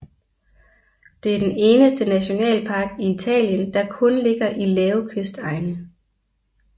Det er den eneste nationalpark i Italien der kun ligger i lave kystegne